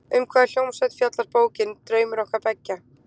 Um hvaða hljómsveit fjallar bókin, Draumur okkar beggja?